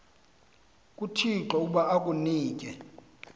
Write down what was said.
kuthixo ukuba akunike